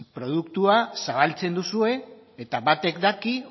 produktua zabaltzen duzue eta batek daki